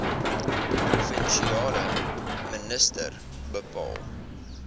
provinsiale minister bepaal